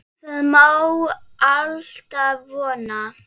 Það má alltaf vona.